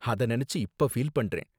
அத நினைச்சு இப்ப ஃபீல் பண்றேன்